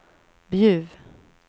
Bjuv